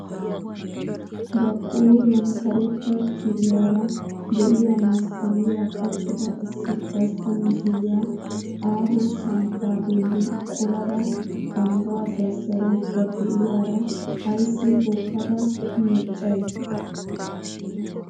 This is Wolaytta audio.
Ba qooriyan karetta kiriyaara de'iyaa masqqaliyaa qachchida issi gastta mishiriyaa aaho samppaa bolli qolada banggaa zazaraydda de'iyaara ayssi hookkada miiccay.